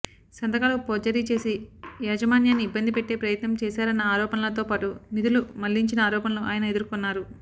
సంతకాలు పోర్జరీ చేసి యాజమాన్యాన్ని ఇబ్బంది పెట్టే ప్రయత్నం చేశారన్న ఆరోపణలతో పాటు నిధులు మళ్లించిన ఆరోపణలు ఆయన ఎదుర్కొన్నారు